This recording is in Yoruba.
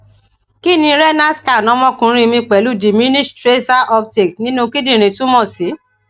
kí ni renal scan ọmọkunrin mi pelu diminished tracer uptake ninu kindinrin tumo si